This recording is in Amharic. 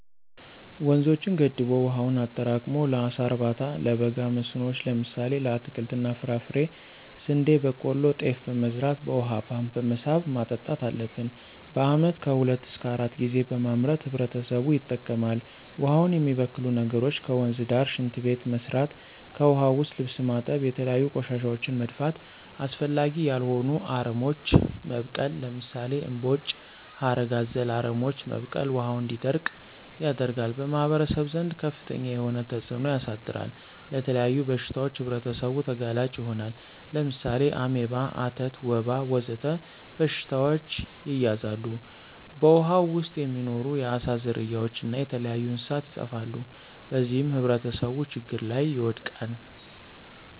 ወንዞችን ገድቦ ዉሀውን አጠራቅሞ ለአሳ እርባታ፣ ለበጋ መስኖዎች ለምሳሌ ለአትክልት እና ፍራፍሬ፣ ስንዴ፣ በቆሎ፣ ጤፍ በመዝራት በውሃ ፓምፕ በመሳብ ማጠጣት አለብን። በአመት ከሁለት እሰከ አራት ጊዜ በማምረት ህብረተሰቡ ይጠቀማል። ውሃውን የሚበክሉ ነገሮች ከወንዝ ዳር ሽንት ቤት መስራት። ከዉሀ ዉስጥ ልብስ ማጠብ፣ የተለያዩ ቆሻሻወችን መድፋት፣ አስፈላጊ ያልሆኑ አረሞች መብቀል ለምሳሌ እምቦጭ፣ ሀረግ አዘል አረሞች መብቀል ውሀው እንዲደርቅ ያደርጋል። በማህበረሰቡ ዘንድ ከፍተኛ የሆነ ተፅእኖ ያሳድራል። ለተለያዩ በሽታዎች ህብረተሰቡ ተጋላጭ ይሆናሉ። ለምሳሌ አሜባ፣ አተት፣ ወባ ወዘተ በሽታዎች ይያዛሉ። በውሃው ዉስጥ የሚኖሩ የአሳ ዝርያዎች እና የተለያዩ እንስሳት ይጠፋሉ። በዚህም ህብረተሰቡ ችግር ላይ ይወድቃል።